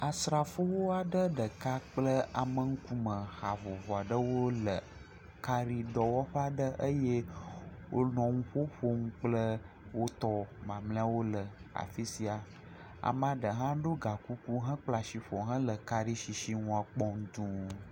Asrafowo aɖe ɖeka kple ameŋkume ha vovo aɖewo le karidɔwɔƒe aɖe eye wonɔ ŋuƒoƒom kple wotɔ mamlɛawo le afi sia. Ame aɖe hã ɖo gakuku hekpla shi ƒo hele karishshiŋua kpɔm dũu.